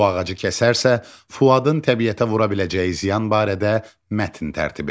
Bu ağacı kəsərsə, Fuadın təbiətə vura biləcəyi ziyan barədə mətn tərtib edin.